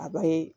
A ba ye